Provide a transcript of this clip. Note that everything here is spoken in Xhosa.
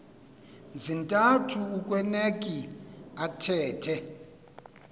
zintathu akueuneki athethe